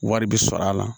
Wari bi sɔrɔ a la